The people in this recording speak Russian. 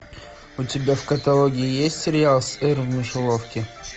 у тебя в каталоге есть сериал сыр в мышеловке